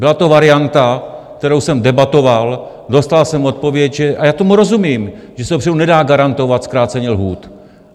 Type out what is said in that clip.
Byla to varianta, kterou jsem debatoval, dostal jsem odpověď, a já tomu rozumím, že se dopředu nedá garantovat zkrácení lhůt.